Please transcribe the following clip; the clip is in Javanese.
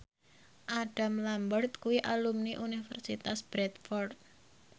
Adam Lambert kuwi alumni Universitas Bradford